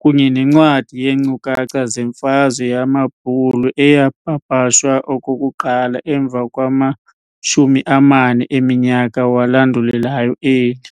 kunye nencwadi yeenkcukacha zemfazwe yamabbhulu eyapapashwa okokuqala emva kwama-40 eminyaka walandulelayo eli.